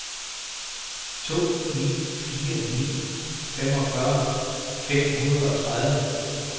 to ni fire ni femogfyrre fem hundrede og tredive